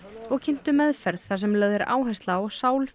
og kynntu meðferð þar sem lögð er áhersla á